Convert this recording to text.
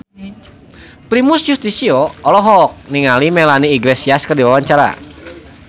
Primus Yustisio olohok ningali Melanie Iglesias keur diwawancara